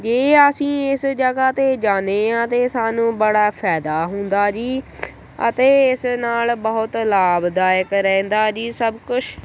ਜੇ ਅਸੀ ਇਸ ਜਗ੍ਹਾ ਤੇ ਜਾਨੇਂ ਆਂ ਤੇ ਸਾਨੂੰ ਬੜਾ ਫਾਇਦਾ ਹੁੰਦਾ ਜੀ ਅਤੇ ਇਸ ਨਾਲ ਬਹੁਤ ਲਾਭਦਾਇਕ ਰਹਿੰਦਾ ਜੀ ਸਭ ਕੁਛ।